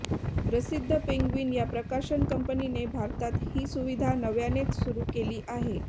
प्रसिद्ध पेंग्विन या प्रकाशन कंपनीने भारतात ही सुविधा नव्यानेच सुरू केली आहे